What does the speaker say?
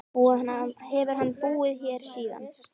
Hefur hann búið hér síðan.